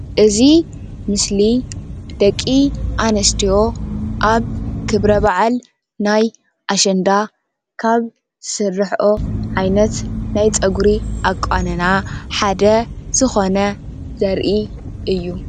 እዚ ምስሊ ደቂ አነስትዮ ኣብ ክብረ በዓል ናይ ኣሸንዳ ካብ ዝስረሓኦ ዓይነት ናይ ፀጉሪ ኣቆናንና ሓደ ዝኮነ ዘርኢ እዩ፡፡